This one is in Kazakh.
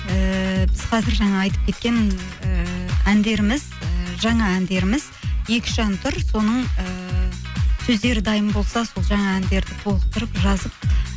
ііі біз қазір жаңа айтып кеткен ііі әндеріміз і жаңа әндеріміз екі үш ән тұр соның ііі сөздері дайын болса сол жаңа әндерді толықтырып жазып